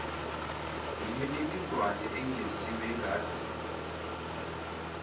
yimininingwane engeziwe engase